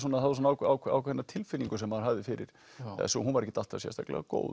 það var svona ákveðinn tilfinning sem maður hafði fyrir þessu og hún var ekkert alltaf sérstaklega góð